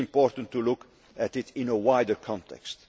It is important to look at it in a wider context.